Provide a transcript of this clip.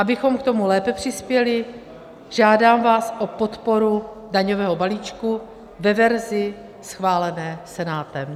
Abychom k tomu lépe přispěli, žádám vás o podporu daňového balíčku ve verzi schválené Senátem.